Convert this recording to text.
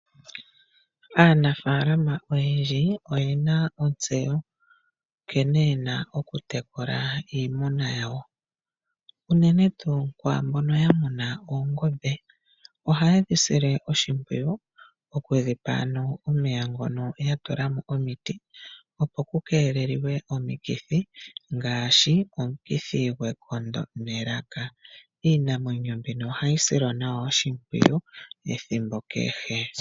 Aanafalama oyendji oyena ontseyo nkene yena oku tekula iimuna yawo. Unene kwaambono haya munu oongombe , ohayedhi sile oshimowiyu. Okudhipa omega yatulamo omiti dhokukelela omikithi ngaashi omukithi gwekondo nelaka.